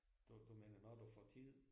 Du du mener når du får tid?